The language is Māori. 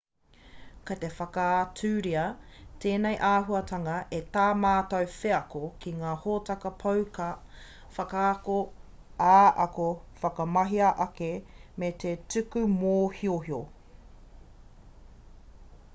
kei te whakaaturia tēnei āhuatanga e tā mātou wheako ki ngā hōtaka pouaka whakaata ā-ako whakamahi-ake me te tuku mōhiohio